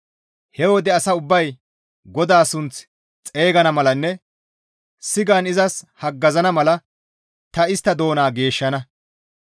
He wode asay ubbay GODAA sunth xeygana malanne sigan izas haggazana mala ta istta doona geeshshana.